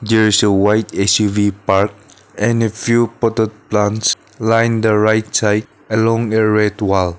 there is a white X_U_V parked and a few potted plants lined the right side along a red wall.